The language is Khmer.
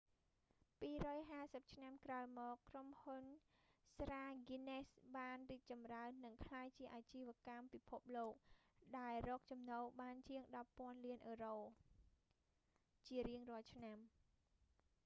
250 ឆ្នាំក្រោយមក ក្រុមហ៊ុនស្រាហ្គីនណេសបានរីកចម្រើន និងក្លាយជាអាជីវកម្មពិភពលោក ដែលរកចំណូលបានជាង 10 ពាន់លានអឺរ៉ូ 14.7 ពាន់លានដុល្លារអាមេរិក ជារៀងរាល់ឆ្នាំ